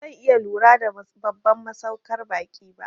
Bazan iya lura da babban masaukar ba'i ba